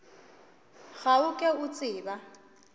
ga o ke o tseba